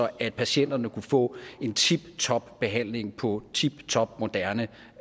at patienterne kunne få en tiptop behandling på tiptop moderne